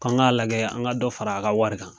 K'an k'a lajɛ an ka dɔ fara a ka wari kan.